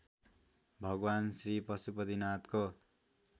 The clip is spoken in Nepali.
भगवान् श्री पशुपतिनाथको